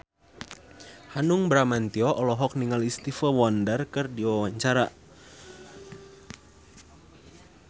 Hanung Bramantyo olohok ningali Stevie Wonder keur diwawancara